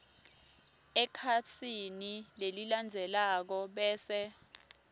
ekhasini lelilandzelako bese